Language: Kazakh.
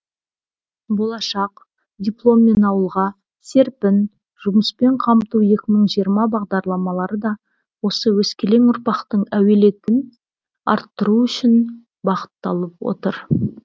болашақ дипломмен ауылға серпін жұмыспен қамту екі мың жиырма бағдарламары да осы өскелең ұрпақтың әлеуетін арттыру үшін бағытталып отыр